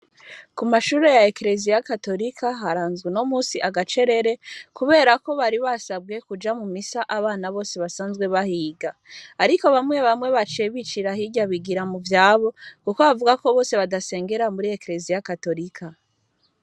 Ku mashure ya ekleziya gatorika haranzwe unomunsi agacerere kubera ko bari basabwe kuja mu misa abana bose basanzwe bahiga. Ariko bamwe bamwe baciye bicira hirya baja mu vyabo kuko bavuga ko bose badasengera muri ekleziya gatorika.